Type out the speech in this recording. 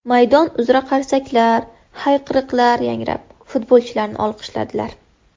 Maydon uzra qarsaklar, hayqiriqlar yangrab futbolchilarni olqishladilar.